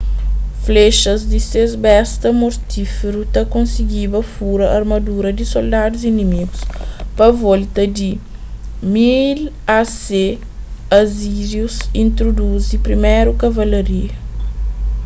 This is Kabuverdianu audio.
flexas di ses besta mortíferu ta kosigiba furaa armadura di soldadus inimígu pa volta di 1000 a.c. asírius intruduzi priméru kavalaria